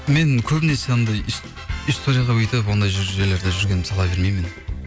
мен көбінесе анандай историяда өйтіп ондай жерлерде жүргенімді сала бермеймін мен